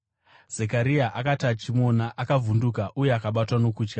Zekaria akati achimuona, akavhunduka uye akabatwa nokutya.